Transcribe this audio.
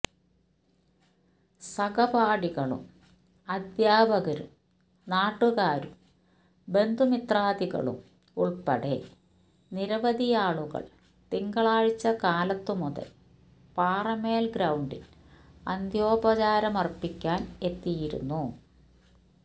സഹപാഠികളും അധ്യാപകരും നാട്ടുകാരും ബന്ധുമിത്രാദികളും ഉൾപ്പടെ നിരവധിയാളുകൾ തിങ്കളാഴ്ച കാലത്തുമുതൽ പാറേമ്മൽ ഗ്രൌണ്ടിൽ അന്ത്യോപചാരമർപ്പിക്കാൻ എത്തിയിരുന്നു